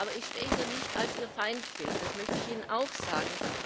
Aber ich stehe hier nicht als Ihr Feindbild, das möchte ich Ihnen auch sagen.